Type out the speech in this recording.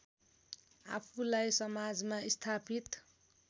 आफूलाई समाजमा स्थापित